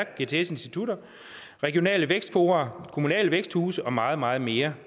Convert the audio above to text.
gts institutter regionale vækstfora kommunale væksthuse og meget meget mere